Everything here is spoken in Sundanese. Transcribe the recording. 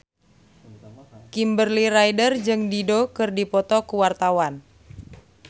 Kimberly Ryder jeung Dido keur dipoto ku wartawan